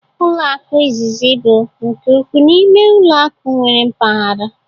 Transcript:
Ụlọ akụ izizi bụ nke ukwuu n'ime ụlọ akụ nwere mpaghara